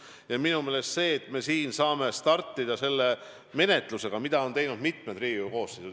Ja minu meelest on hea, et me siin saame startida selle menetlusega, mida on arutanud mitu Riigikogu koosseisu.